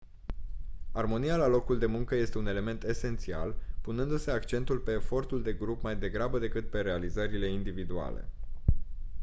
armonia la locul de muncă este un element esențial punându-se accentul pe efortul de grup mai degrabă decât pe realizările individuale